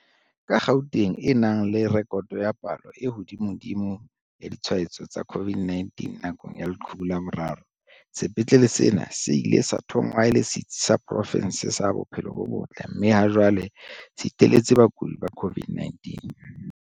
Ka Gauteng e nang le rekoto ya palo e hodimodimo ya ditshwa etso tsa COVID-19 nakong ya leqhubu la boraro, sepetlele sena se ile sa thongwa e le setsi sa pro fense sa bophelo bo botle mme ha jwale se iteletse bakudi ba COVID-19.